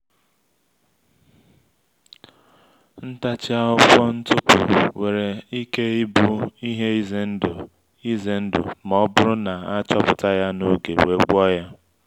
ntachi akwụkwọ ntụpụ nwere ike ịbụ ihe ize ndụ ize ndụ ma ọ bụrụ na a achọpụta ya n’oge we’ gwo ya